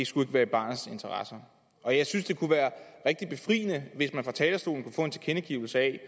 skulle være i barnets interesse og jeg synes det kunne være rigtig befriende hvis man fra talerstolen kunne få en tilkendegivelse af